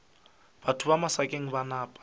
batho ba masakeng ba napa